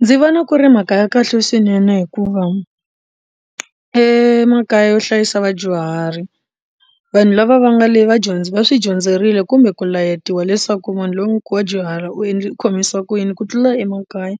Ndzi vona ku ri mhaka ya kahle swinene hikuva emakaya yo hlayisa vadyuhari vanhu lava va nga le va swi dyondzerile kumbe ku layetiwa leswaku munhu loyi dyuhara u u khomisa ku yini ku tlula emakaya